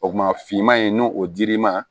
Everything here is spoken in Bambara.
O kuma finman in n'o o dir'i ma